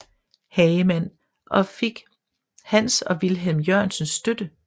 Hagemann og fik hans og Vilhelm Jørgensens støtte